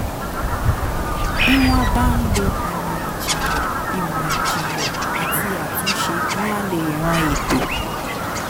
bí wọ́n bá ń lo ìmọ̀ ìjìnlẹ̀ ìmọ̀ ìjìnlẹ̀ àti àtúnṣe wọ́n á lè ran ètò